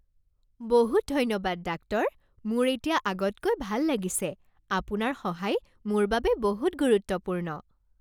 বহুত ধন্যবাদ ডাক্তৰ! মোৰ এতিয়া আগতকৈ ভাল লাগিছে। আপোনাৰ সহায় মোৰ বাবে বহুত গুৰুত্বপূৰ্ণ।